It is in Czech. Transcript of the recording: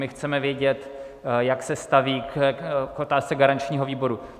My chceme vědět, jak se staví k otázce garančního výboru.